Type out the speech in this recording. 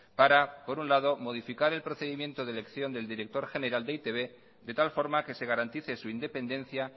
para por un lado modificar el procedimiento de elección del director general de e i te be de tal forma que se garantice su independencia